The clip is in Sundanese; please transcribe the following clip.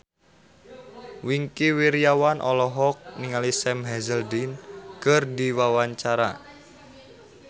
Wingky Wiryawan olohok ningali Sam Hazeldine keur diwawancara